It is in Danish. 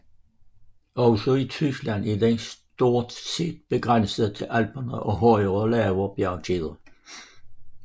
Også i Tyskland er den stort set begrænset til Alperne og højere lave bjergkæder